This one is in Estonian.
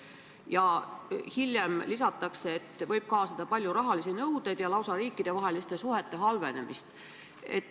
" Ja hiljem lisatakse, et sellega võib kaasneda palju rahalisi nõudeid ja lausa riikidevaheliste suhete halvenemine.